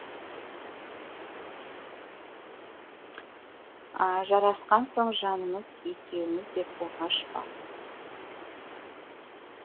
жарасқан соң жанымыз екеуміз деу оғаш па